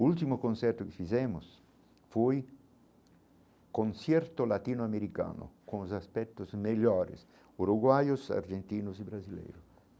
O último concerto que fizemos foi concerto latino-americano com os aspectos melhores, uruguaios argentinos e brasileiros.